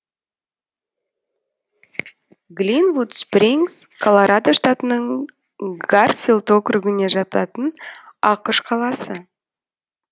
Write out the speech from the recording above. глинвуд спрингс колорадо штатының гарфилд округіне жататын ақш қаласы